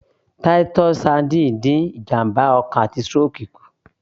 Titus sardines dín ìjàmbá ọkàn àti stroke kù